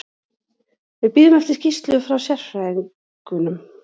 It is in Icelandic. Við bíðum eftir skýrslu frá sérfræðingnum.